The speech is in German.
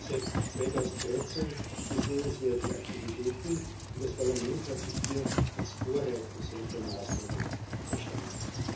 Seit 2013 gibt es nennenswerte Aktivitäten, und das Parlament hat sich hier als Vorreiter solcher Maßnahmen verstanden.